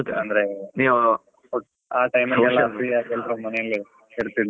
ಅಂದ್ರೆ ಆ ಮನೆಯಲ್ಲೇ ಇರ್ತಿದ್ರಲ್ಲ.